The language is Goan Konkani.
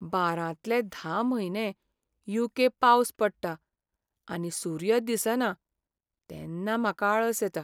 बारांतले धा म्हयने यू.के. पावस पडटा आनी सूर्य दिसना तेन्ना म्हाका आळस येता.